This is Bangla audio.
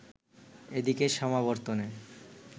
এদিকে সমাবর্তনে